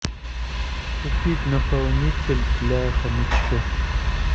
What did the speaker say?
купить наполнитель для хомячков